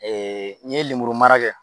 n ye lemuru mara kɛ